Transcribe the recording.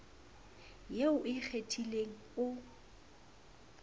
eo o e kgethileng o